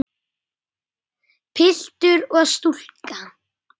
Piltur og stúlka.